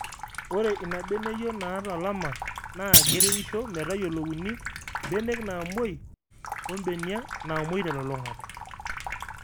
Ore Ina beneyio naata olama naa keretisho metayiolouni mbenek naamoi ombenia naamoi telulung'ata.